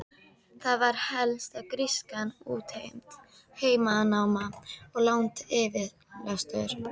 Það var helst að grískan útheimti heimanám og langar yfirsetur.